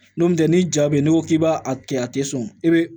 N'o tɛ ni ja bɛ yen n'i ko k'i b'a kɛ a tɛ sɔn i bɛ